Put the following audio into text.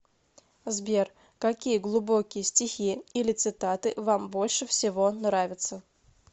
сбер какие глубокие стихи или цитаты вам больше всего нравятся